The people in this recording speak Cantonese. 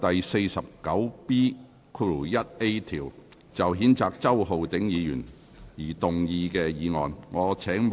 根據《議事規則》第 49B 條，就譴責周浩鼎議員而動議的議案。